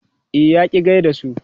E, ya ƙi gai da su.